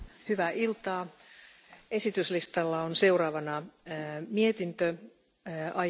Frau Präsidentin, Herr Kommissar und die leider nicht vorhandene Ratspräsidentschaft, liebe Kolleginnen und Kollegen!